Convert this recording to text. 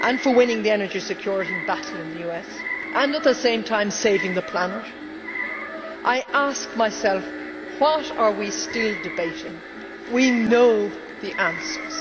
winning the energy security battle in the US and at the same time saving the planet, I ask myself what are we still debating? We know the answers.